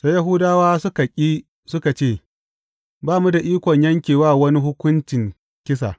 Sai Yahudawa suka ƙi suka ce, Ba mu da ikon yanke wa wani hukuncin kisa.